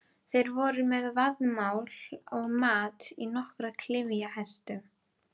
Þeir voru með vaðmál og mat á nokkrum klyfjahestum.